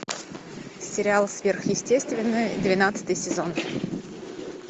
сериал сверхъестественное двенадцатый сезон